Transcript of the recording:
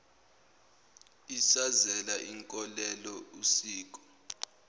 isazela inkolelo usiko